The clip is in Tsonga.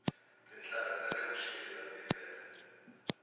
tintlhari ta le vuxeni ta bibele